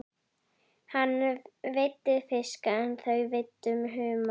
Hann veiddi fisk en þau veiddu humar.